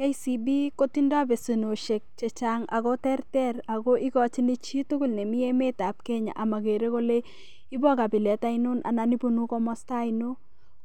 KCB kotindoi besenosiek chechang ako tertera ako igochin chi tugul nemi emet ab Kenya omogere kole ibo kabilet ainon anan ibunu komasta ainon,